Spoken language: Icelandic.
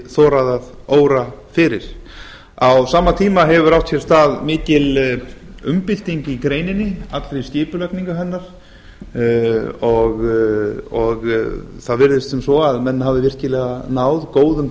þorað að óra fyrir á sama tíma hefur átt sér stað mikil umbylting í greininni allri skipulagningu hennar það virðist sem svo að menn hafi virkilega náð góðum